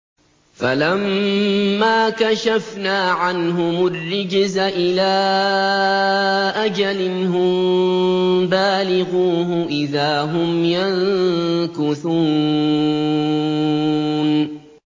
فَلَمَّا كَشَفْنَا عَنْهُمُ الرِّجْزَ إِلَىٰ أَجَلٍ هُم بَالِغُوهُ إِذَا هُمْ يَنكُثُونَ